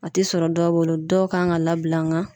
A te sɔrɔ dɔw bolo, dɔw kan ka labila nga